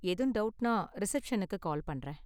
ஏதும் டவுட்னா, ரிசப்ஷனுக்கு கால் பண்றேன்.